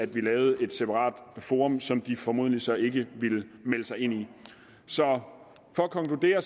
vi lavede et separat forum som de formodentlig så ikke ville melde sig ind i så for at konkludere